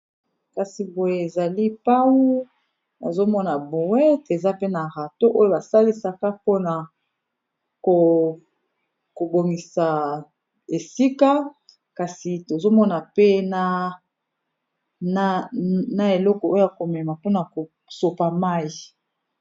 kasi boye ezali pau azomona boet eza pe na rata oyo basalisaka mpona kobongisa esika kasi tozomona pe na eloko oyo komema mpona kosopa mai